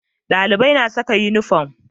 Dalibai na saka inifam